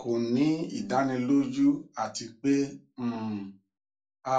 kò ní ìdánilójú àti pé um a